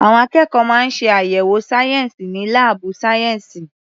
Àwọn akẹ́kọ̀ọ́ máa ń ṣe àyẹ̀wò sayensi ní laabu sayensi.